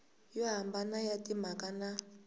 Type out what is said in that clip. yo hambana ya timhaka na